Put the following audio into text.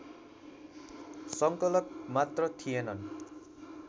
संकलक मात्र थिएनन्